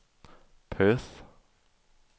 Perth